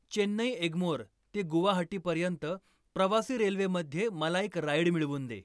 चेन्नई एग्मोर ते गुवाहाटी पर्यंत प्रवासी रेल्वेमध्ये मला एक राईड मिळवून दे